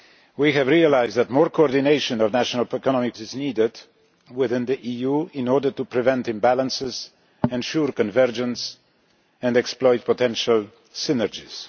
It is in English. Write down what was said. We have realised that more coordination of national economic policies is needed within the EU in order to prevent imbalances, ensure convergence and exploit potential synergies.